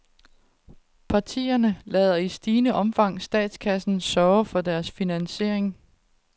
Partierne lader i stigende omfang statskassen sørge for deres finansiering.